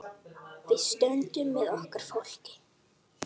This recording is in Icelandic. Við stöndum með okkar fólki.